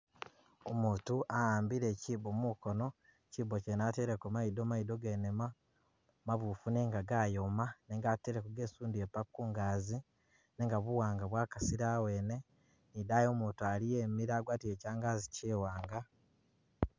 Umutu wa'ambile kyibo mukono, kyibo kyene ateleko maido, maido gene mabufu nenga gayoma nenga ateleko gesundile paka kungazi, nenga bu wanga bwakasile awene, ni idayi umutu aliyo imile agwatile kyangagi kyiwanga